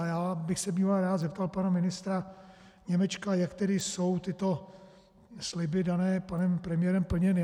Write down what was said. A já bych se býval rád zeptal pana ministra Němečka, jak tedy jsou tyto sliby dané panem premiérem plněny.